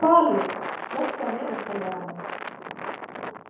Svali, slökktu á niðurteljaranum.